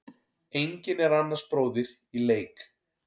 Enginn er annars bróðir í leik.